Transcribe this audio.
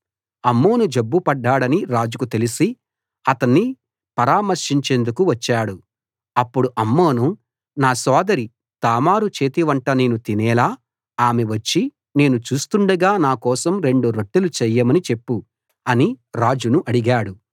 అమ్నోను జబ్బు పడ్డాడని రాజుకు తెలిసి అతణ్ణి పరామర్శించేందుకు వచ్చాడు అప్పుడు అమ్నోను నా సోదరి తామారు చేతి వంట నేను తినేలా ఆమె వచ్చి నేను చూస్తుండగా నా కోసం రెండు రొట్టెలు చేయమని చెప్పు అని రాజును అడిగాడు